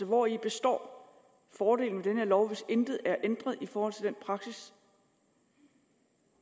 hvori består fordelen ved den her lov hvis intet er ændret i forhold til den praksis